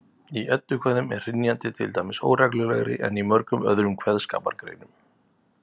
Í eddukvæðum er hrynjandi til dæmis óreglulegri en í mörgum öðrum kveðskapargreinum.